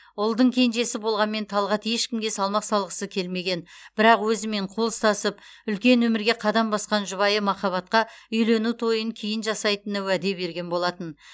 ұлдың кенжесі болғанмен талғат ешкімге салмақ салғысы келмеген бірақ өзімен қол ұстасып үлкен өмірге қадам басқан жұбайы махаббатқа үйлену тойын кейін жасайтынына уәде берген болатын